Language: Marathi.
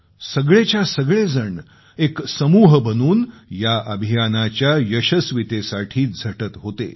सगळेच्यासगळेजण एक समूह बनून या अभियानाच्या यशस्वीतेसाठी झटत होते